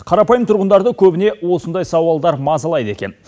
қарапайым тұрғындарды көбіне осындай сауалдар мазалайды екен